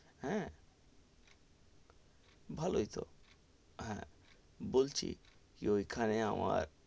হ্যা, ভালোই তো, হেঁ বলছি ঐখানে আমার,